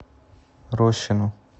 рощину